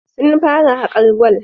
Sun fara hakar gwal